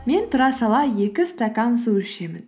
мен тұра сала екі стакан су ішемін